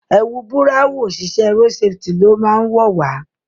ẹwù Búráhùn oṣiṣẹ road safety ló má wọ wá.